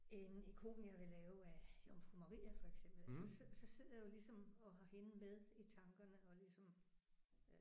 En ikon jeg vil lave af Jomfru Maria for eksempel altså så så sidder jeg jo ligesom og har hende med i tankerne og ligesom